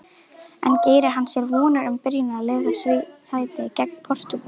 En gerir hann sér vonir um byrjunarliðssæti gegn Portúgal?